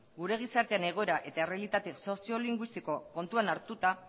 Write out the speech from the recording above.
gure gizartearen egoera eta errealitate soziolinguistiko kontutan hartuta